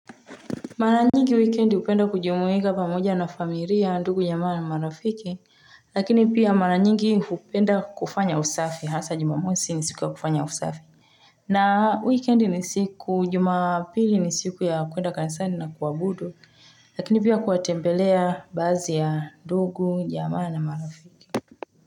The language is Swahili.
Maranyigi weekend hupenda kujumuika pamoja na familia, ndugu, jamaa na marafiki, lakini pia maranyigi hupenda kufanya usafi, hasa jumamosi ni siku ya kufanya usafi. Na weekend ni siku, jumapili ni siku ya kwenda kansani na kuabudu, lakini pia kuwatembelea baazi ya ndugu, jamaa na marafiki.